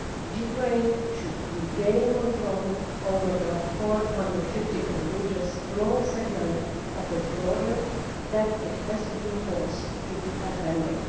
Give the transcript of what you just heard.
Ukraine should regain control over the 450 kilometre long segment of its border that it has been forced to abandon.